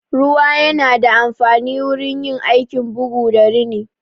Ruwa yana da amfanin wurin yin aikin bugu da rini.